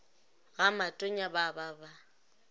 ga matonya ba ba ba